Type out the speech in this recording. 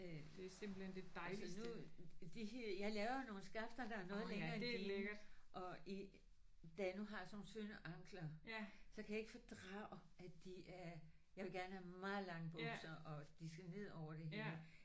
Altså nu de her jeg laver nogle skafter der er noget længere end dine og i da jeg nu har sådan nogle tynde ankler så kan jeg ikke fordrage at de er jeg vil gerne have dem meget lange bukser og de skal ned over det hele